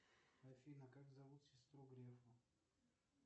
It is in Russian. афина как зовут сестру грефа